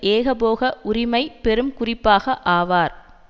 ஏகபோக உரிமை பெறும்குறிப்பாக ஆவார்